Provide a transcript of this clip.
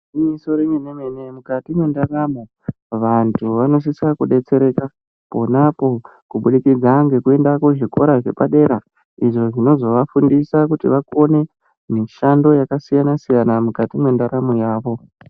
Igwinyiso remene mene mukati mwendaramo vantu vanosise kudetsereka pona apo kubudikidza ngekuenda pazvikora zvepadera izvo zvinozovafundisa kuti vakone mishando yakasiyana siyana mukati mwendaramo yavo.